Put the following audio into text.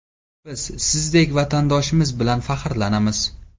Biz sizdek vatandoshimiz bilan faxrlanamiz!